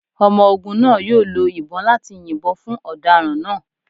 Ọmọ ogun naa yoo lo ibon lati yinbọn fun ọdaràn naa